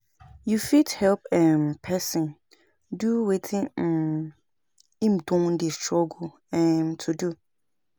You fit help um person do wetin um im don dey struggle um to do